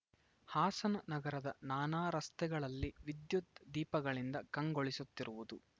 ಹಾಸನ ನಗರದ ನಾನಾ ರಸ್ತೆಗಳಲ್ಲಿ ವಿದ್ಯುತ್‌ ದೀಪಗಳಿಂದ ಕಂಗೊಳಿಸುತ್ತಿರುವುದು